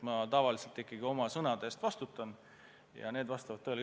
Ma tavaliselt ikkagi oma sõnade eest vastutan ja need vastavad tõele.